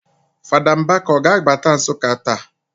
Fada Mbaka ọ ga-abata Nsụka taa?